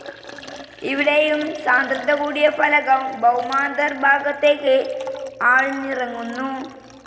ഇവിടെയും സാന്ദ്രത കൂടിയ ഫലകം ഭൌമാന്തർ ഭാഗത്തേക്ക് ആഴ്ന്നിറങ്ങുന്നു.